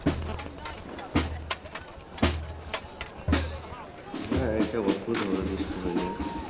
হ্যাঁ এটা অদ্ভুত হবে বৃষ্টি হইলে।